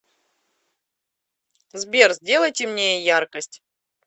сбер сделай темнее яркость